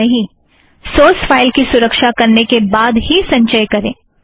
भुलियेगा नहीं source file की सुरक्षा करने के बाद ही संचय करें